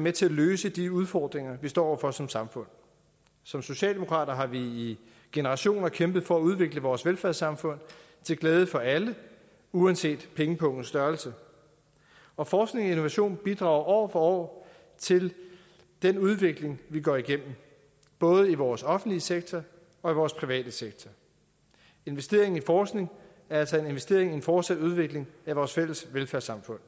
med til at løse de udfordringer vi står over for som samfund som socialdemokrater har vi i generationer kæmpet for at udvikle vores velfærdssamfund til glæde for alle uanset pengepungens størrelse og forskning og innovation bidrager år for år til den udvikling vi går igennem både i vores offentlige sektor og i vores private sektor investeringen i forskning er altså en investering i en fortsat udvikling af vores fælles velfærdssamfund